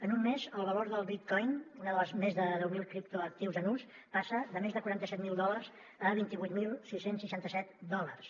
en un mes el valor del bitcoin un dels més de deu mil criptoactius en ús passa de més de quaranta set mil dòlars a vint vuit mil sis cents i seixanta set dòlars